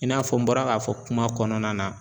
I n'a fɔ n bɔra k'a fɔ kuma kɔnɔna na